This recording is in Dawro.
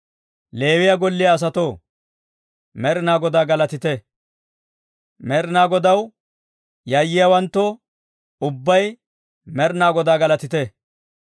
Leewiyaa golliyaa asatoo, Med'inaa Godaa galatite; Med'inaa Godaw yayyiyaawanttoo, ubbay Med'inaa Godaa galatite.